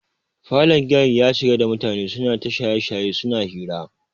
Falon giyar ya cika da mutane suna ta shaye-shaye suna hira.